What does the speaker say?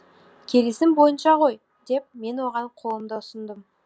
келісім бойынша ғой деп мен оған қолымды ұсындым